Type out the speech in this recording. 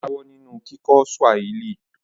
Ó jáwọ́ nínú kíkọ́ Swahili